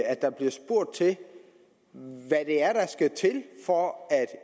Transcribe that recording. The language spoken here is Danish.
at der bliver spurgt til hvad det er der skal til for at